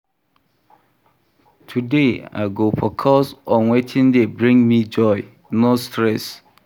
Today, I go focus on wetin dey bring me joy, no stress